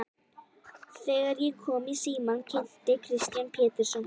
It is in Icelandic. Þegar ég kom í símann kynnti Kristján Pétursson sig.